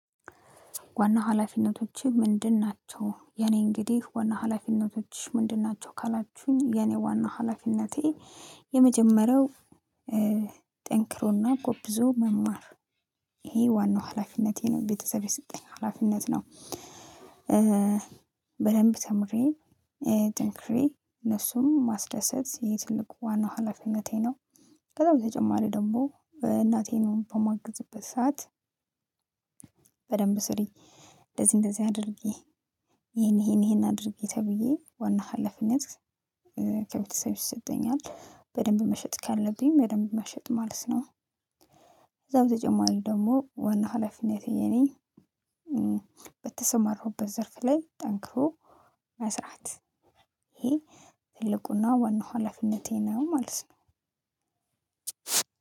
ዋና ሀላፊነቶችሽ ምንድን ናቸው የኔ እንግዲህ ዋና ሀላፊነቶችሽ ምንድን ናቸው? ካላችሁኝ የኔ ዋናው ሀላፊነቴ የመጀመሪያው ጠንክሮና ጎብዞ መማር ይሄ ዋናው ሀላፊነቴ ነው ቤተሰብ የሰጠኝ ሀላፊነት ነው። በደንብ ተምሬ ጥንክሬ እነሱም ማስደሰት የትልቁ ዋናው ሀላፊነቴ ነው። ከዛ በተጨማሪ ደግሞ እናቴን በማግዝበት ሰዓት በደንብ ስሪ እንደዚህ እንደዚህ አድርጌ ይሄን ይሄን ይሄን አድርጌ ተብዬ ዋና ሀላፊነት ከቤተሰብ ይሰጠኛል በደንብ መሸጥ ካለብኝ በደንብ መሸጥ ማለት ነው። ከዛው በተጨማሪው ደግሞ ዋና ሀላፊነቴ የኔ በተሰማርኩበት ዘርፍ ላይ ጠንክሮ መስራት ይሄ ትልቁና ዋናው ሀላፊነቴ ነው ማለት ነው።